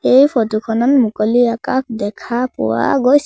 এই ফটো খনত মুকলি আকাশ দেখা পোৱা গৈছ--